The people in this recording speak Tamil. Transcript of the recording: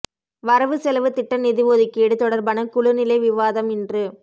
வரவு செலவு திட்ட நிதி ஒதுக்கீடு தொடர்பான குழுநிலை விவாதம் இன்று